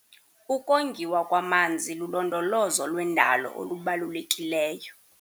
Ukongiwa kwamanzi lulondolozo lwendalo olubalulekileyo.